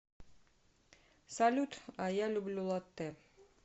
салют а я люблю латтэ